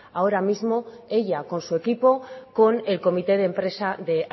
ahora mismo ella con su equipo con el comité de empresa de